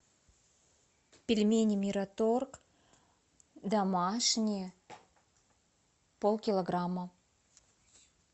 пельмени мираторг домашние полкилограмма